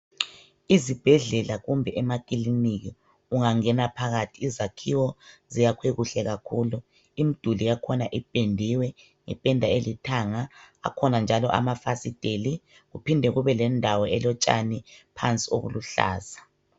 Izibhedlela kumbe amakiliniki ungangena phakathi izakhiwo ziyakwe kuhle kakhulu imiduli yakhona ipendiwe ngependa elithanga akhona njalo amafasiteli kuphinde kubendawo elotshani pansi okuluhlaza